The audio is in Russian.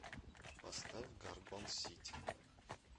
поставь горгон сити